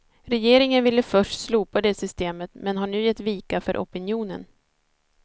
Regeringen ville först slopa det systemet, men har nu gett vika för opinionen.